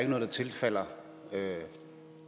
der tilfalder